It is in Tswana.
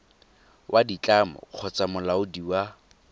wa ditlamo kgotsa molaodi wa